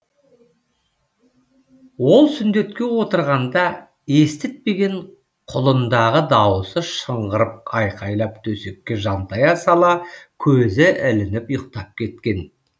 ол сүндетке отырғанда естітпеген құлын дағы дауысы шыңғырып айқайлап төсекке жантая сала көзі ілініп ұйықтап кеткен